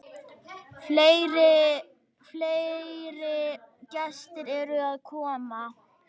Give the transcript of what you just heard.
Fleiri gestir eru að koma.